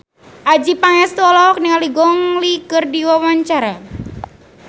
Adjie Pangestu olohok ningali Gong Li keur diwawancara